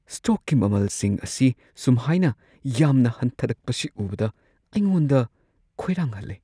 ꯁꯇꯣꯛꯀꯤ ꯃꯃꯜꯁꯤꯡ ꯑꯁꯤ ꯁꯨꯝꯍꯥꯏꯅ ꯌꯥꯝꯅ ꯍꯟꯊꯔꯛꯄꯁꯤ ꯎꯕꯗ ꯑꯩꯉꯣꯟꯗ ꯈꯣꯏꯔꯥꯡꯍꯜꯂꯦ ꯫